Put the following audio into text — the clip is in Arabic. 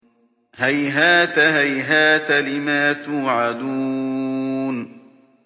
۞ هَيْهَاتَ هَيْهَاتَ لِمَا تُوعَدُونَ